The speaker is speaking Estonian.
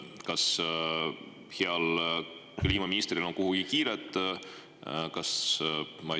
Kas heal kliimaministril on kuhugi kiire?